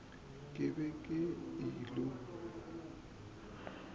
re ke be ke ilo